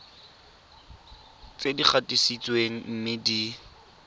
tse di gatisitsweng mme di